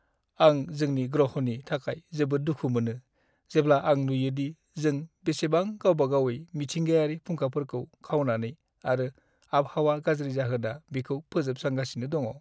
आं जोंनि ग्रहनि थाखाय जोबोद दुखु मोनो जेब्ला आं नुयोदि जों बेसेबां गावबागावयै मिथिंगायारि फुंखाफोरखौ खावनानै आरो आबहावा गाज्रि जाहोना बिखौ फोजोबस्रांगासिनो दङ।